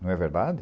Não é verdade?